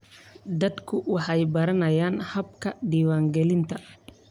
Dadku waxay baranayaan hababka diiwaangelinta.